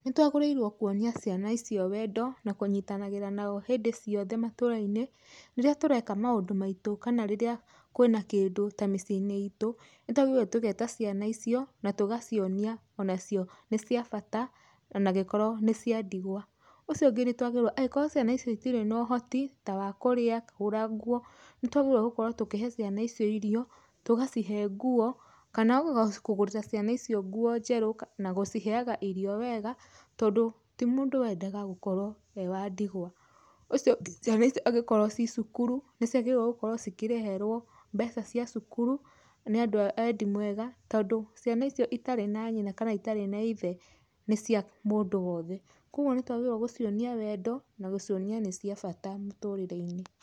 Nĩtwagĩrĩirwe kwonia ciana icio wendo na kũnyitanagĩra nao hĩndĩ ciothe matũrainĩ rĩrĩa tũreka maũndũ maitũ kana rĩrĩa kwĩna kĩndũ ta mĩciĩnĩ itũ nĩtagwĩrĩirwe tũgeta ciana icio na tũgacionia onacio nĩ cia bata ona gĩkorwo nĩcia ndigwa, ũcio ũngĩ nĩtwagĩríirwo angĩkorwo ciana ici itĩrĩ na ũhoti ya wa kũrĩa ,kũgũrq nguo, nĩtwagĩrĩrirwe gũkorwo tũkĩhe ciana icio irio tondũ ,tũgacihe nguo kana kũgũrĩra ciana icio nguo njerũ na gũciheaga irio weega tondũ tĩ mũndũ wendaga gũkorwo ewandigwa, ũcio ũngĩ ciana icio angĩkorwo cicukuru ciagĩrĩirwo cikĩrĩhĩrwo mbeca cia cukuru nĩandũ a wendi weega tondũ ciana icio itarĩ na nyina na itari na ithe nĩcia mũndũ wothe kwoguo twagĩrĩirwe gũcionia wendo na gũcionia nĩ cia bata mũtũrĩreinĩ.